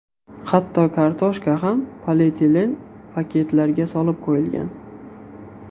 Hatto kartoshka ham polietilen paketlarga solib qo‘yilgan.